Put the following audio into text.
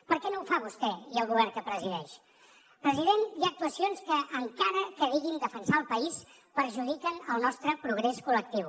per què no ho fan vostè i el govern que presideix president hi ha actuacions que encara que diguin defensar el país perjudiquen el nostre progrés col·lectiu